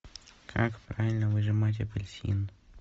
как правильно выжимать апельсин